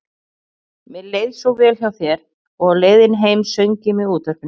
Mér leið svo vel hjá þér og á leiðinni heim söng ég með útvarpinu.